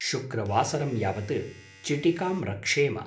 शुक्रवासरं यावत् चिटिकां रक्षेम।